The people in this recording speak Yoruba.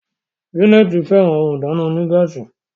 Janet féràn òún ìdáná onígáàsì.